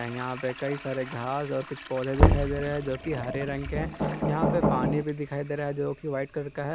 यहां पे कई सारे घास और कुछ पौधे दिखाई दे रहे जो की हरे रंग के है यहां पे पानी भी दिखाई दे रहा जो कि व्हाइट कलर का है।